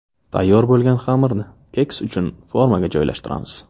Tayyor bo‘lgan xamirni keks uchun formaga joylashtiramiz.